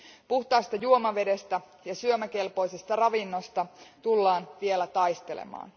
Puhtaasta juomavedestä ja syömäkelpoisesta ravinnosta tullaan vielä taistelemaan.